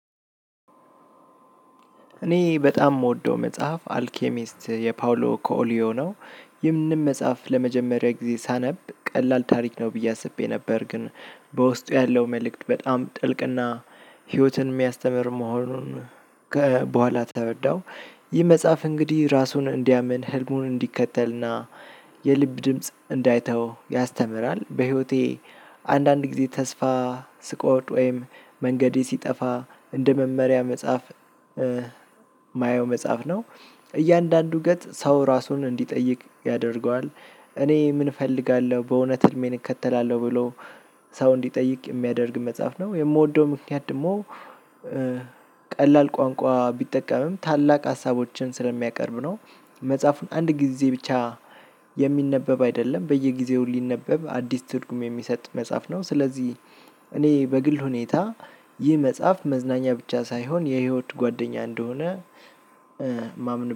እኔ በጣም የምወደው መጽሐፍ አልኬሚስት የፓውሎ ኮሊዮ ነው። ይህንንም መጽሐፍ ለመጀመሪያ ጊዜ ሳነብ ቀላል ታሪክ ነው ብዬ አስቤ ነበር። ግን በውስጡ ያለው መልእክት በጣም ጥልቅና ህይወትን የሚያስተምር መሆኑን። ከበኋላ ተረዳው። ይህ መጽሐፍ እንግዲህ ራሱን እንዲያምን ህልሙን እንዲከተልና የልብ ድምጽ እንዳይተወው ያስተምራል። በህይወቴ አንዳንድ ጊዜ ተስፋ ስቆርጥ ወይም መንገዴ ሲጠፋ እንደ መመሪያ መጽሐፍ። ማየው መጽሐፍ ነው። እያንዳንዱ ገጽ ሰው ራሱን እንዲጠይቅ ያደርገዋል። እኔ ምን እፈልጋለሁ በእውነት ህልሜን እከተላለሁ ብሎ ሰው እንዲጠይቅ የሚያደርግ መጽሐፍ ነው። የምወደው ምክንያት ደግሞ ቀላል ቋንቋ ቢጠቀምም ታላቅ ሀሳቦችን ስለሚያቀርብ ነው። መጽሐፉን አንድ ጊዜ ብቻ የሚነበብ አይደለም በየጊዜው ሊነበብ አዲስ ትርጉም የሚሰጥ መጽሐፍ ነው። ስለዚህ እኔ በግል ሁኔታ ይህ መጽሐፍ መዝናኛ ብቻ ሳይሆን የህይወት ጓደኛ እንደሆነ ማመን